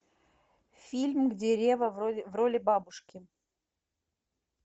фильм где ревва в роли бабушки